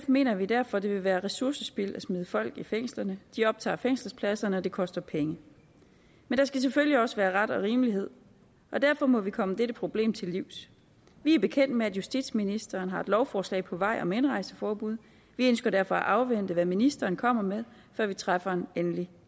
mener vi derfor det vil være ressourcespild at smide folk i fængsel de optager fængselspladser og det koster penge men der skal selvfølgelig også være ret og rimelighed og derfor må vi komme dette problem til livs vi er bekendt med at justitsministeren har et lovforslag på vej om indrejseforbud vi ønsker derfor at afvente hvad ministeren kommer med før vi træffer en endelig